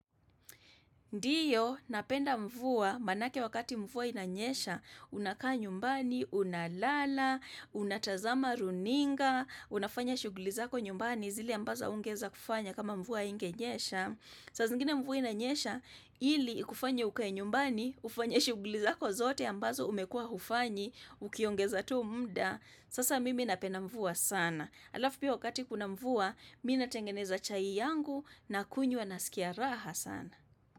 Ndio, napenda mvua manake wakati mvua inanyesha, unakaa nyumbani, unalala, unatazama runinga, unafanya shughuli zako nyumbani zili ambaza ungeza kufanya kama mvua ingenyesha. Saa zingine mvua inanyesha, hili kufanya ukae nyumbani, ufanya shughuli zako zote ambazo umekua ufanyi, ukiongeza tu muda, sasa mimi napena mvua sana. Alafu pia wakati kuna mvua, mimi tengeneza chai yangu na kunywa nasikia raha sana.